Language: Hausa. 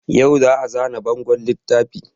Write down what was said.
Yau za a zana bangon littafin